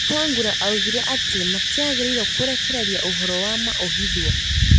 Wetangula oigire atĩ matiagĩrĩirwo kũrekereria ũhoro wa ma ũhithwo